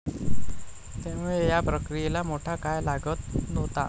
त्यामुळे या प्रक्रियेला मोठा काळ लागत होता.